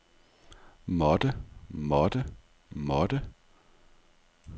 måtte måtte måtte